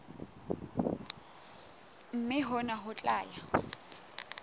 mme hona ho tla ya